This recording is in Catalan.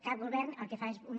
cap govern el que fa és una